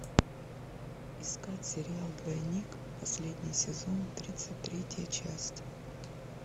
искать сериал двойник последний сезон тридцать третья часть